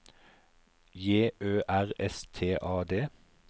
J Ø R S T A D